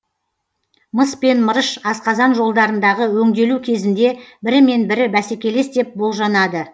мыс пен мырыш асқазан жолдарындағы өңделу кезінде бірімен бірі бәсекелес деп болжанады